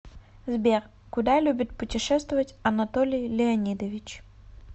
сбер куда любит путешествовать анатолий леонидович